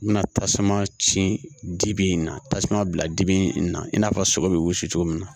I bɛna tasuma cibi in na tasuma bila dibi in na i n'a fɔ sogo bɛ wili cogo min na